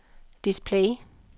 display